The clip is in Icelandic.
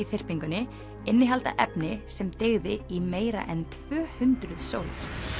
þyrpingunni innihalda efni sem dygði í meira en tvö hundruð sólir